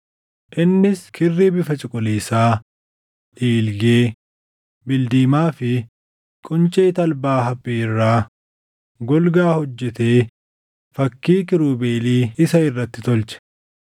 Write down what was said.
Innis kirrii bifa cuquliisaa, dhiilgee, bildiimaa fi quncee talbaa haphii irraa golgaa hojjetee fakkii kiirubeelii isa irratti tolche.